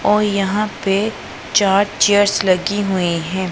और यहां पे चार चेयर्स लगी हुई है।